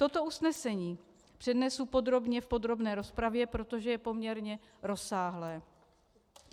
Toto usnesení přednesu podrobně v podrobné rozpravě, protože je poměrně rozsáhlé.